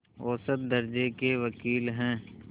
औसत दर्ज़े के वक़ील हैं